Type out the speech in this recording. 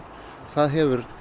það hefur